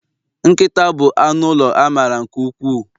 Nkịta bụ anụ ụlọ a mara nke ukwuu